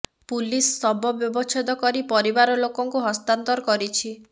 police ଶବ ବ୍ୟବଚ୍ଛେଦ କରି ପରିବାର ଲୋକଙ୍କୁ ହସ୍ତାନ୍ତର କରିଛି